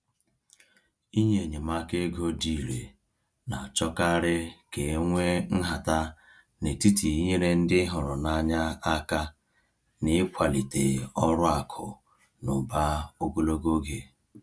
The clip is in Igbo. Inye enyemaka ego dị irè na-achọkarị ka e nwee nhata n’etiti inyere ndị hụrụ n’anya aka na ịkwalite ọrụ akụ na ụba ogologo oge.